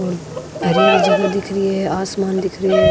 और हरी हरी जगह दिखरी है आसमान दिख रहे है।